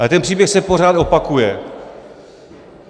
Ale ten příběh se pořád opakuje.